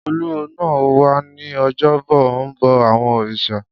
Olúwo náà wà ní ojúbọ ó ń bọ àwọn òrìṣà